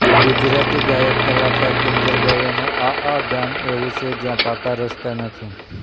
ગુજરાતી ગાયક કલાકાર કિંજલ દવેનું આ આ ગામ એવું છે જ્યાં પાકા રસ્તા નથી